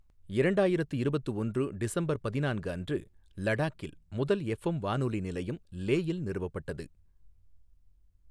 இரண்டாயிரத்து இருபத்து ஒன்று டிசம்பர் பதினான்கு அன்று லடாக்கில் முதல் எஃப்எம் வானொலி நிலையம் லேயில் நிறுவப்பட்டது.